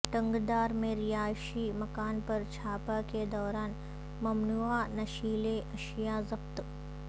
ٹنگڈار میں رہائشی مکان پر چھاپہ کے دوران ممنوعہ نشیلی اشیاءضبط